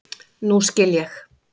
Nú skil ég.